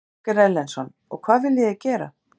Ásgeir Erlendsson: Og hvað viljið þið gera?